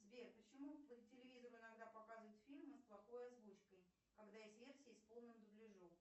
сбер почему по телевизору иногда показывают фильмы с плохой озвучкой когда есть версии с полным дубляжом